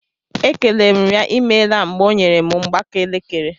E kelere m ya imeela mgbe ọ nyere m mgbaaka elekere.